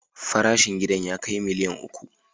Farashin gidan ya kai miliyan uku.